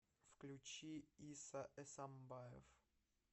включи иса эсамбаев